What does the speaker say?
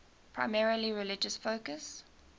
primarily religious focus